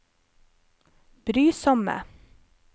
brysomme